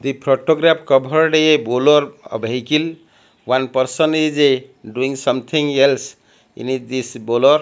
the photograph covered a bolor a vehicle one person is a doing something else in is this bolor.